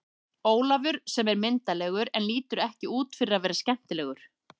Ólafur sem er myndarlegur en lítur ekki út fyrir að vera skemmtilegur.